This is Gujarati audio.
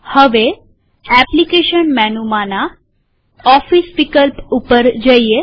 હવે એપ્લીકેશન મેનુમાંના ઓફીસ વિકલ્પ પર જઈએ